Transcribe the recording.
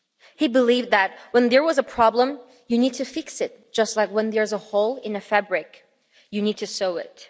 He believed that when there was a problem, you need to fix it, just like when there is a hole in a fabric, you need to sew it.